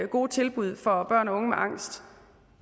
gode tilbud for børn og unge med angst